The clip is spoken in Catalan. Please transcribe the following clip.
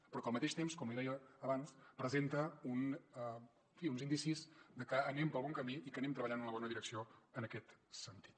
però al mateix temps com li deia abans presenta en fi uns indicis de que anem pel bon camí i que anem treballant en la bona direcció en aquest sentit